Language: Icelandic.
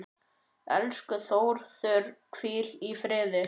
Elsku Þórður, hvíl í friði.